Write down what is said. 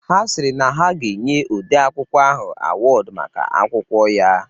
Ha sịrị na ha ga-enye ode akwụkwọ ahụ awọdu maka akwụkwọ ya